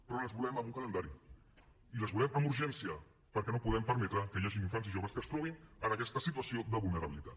però les volem amb un calendari i les volem amb urgència perquè no podem permetre que hi hagin infants i joves que es trobin en aquesta situació de vulnerabilitat